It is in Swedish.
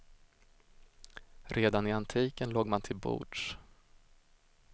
Redan i antiken låg man till bords.